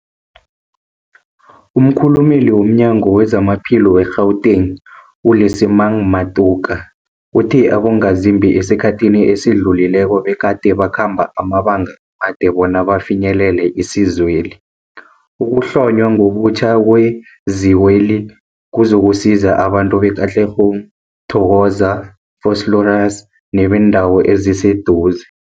Umkhulumeli womNyango weZamaphilo we-Gauteng, u-Lesemang Matuka uthe abongazimbi esikhathini esidlulileko begade bakhamba amabanga amade bona bafinyelele isizweli. Ukuhlonywa ngobutjha kwezikweli kuzokusiza abantu be-Katlehong, Thokoza, Vosloorus nebeendawo eziseduze.